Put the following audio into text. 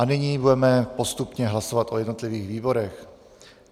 A nyní budeme postupně hlasovat o jednotlivých výborech.